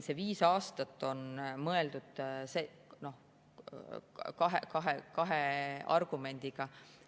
See viis aastat on kahe argumendiga.